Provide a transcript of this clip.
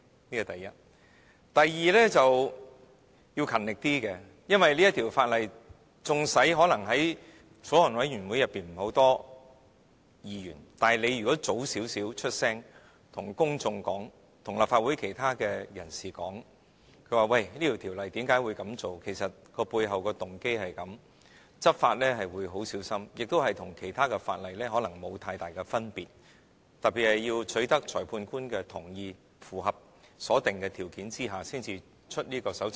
此其一；第二，做事要勤力一點，因為縱使法案委員會沒有很多委員，但如果它早點出聲，對公眾及立法會其他人士解釋《條例草案》的內容，以及背後的動機；執法會很小心，亦與其他法例可能沒有太大分別，特別是要取得裁判官的同意，符合所定的條件下才發出搜查令。